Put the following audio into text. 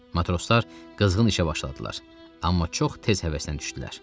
Matroslar qızğın işə başladılar, amma çox tez həvəsdən düşdülər.